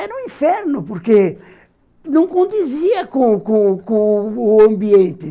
Era um inferno, porque não condizia com com com com o ambiente.